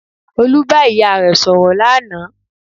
Olú bá ìyá rẹ̀ sọ̀rọ̀ lánàá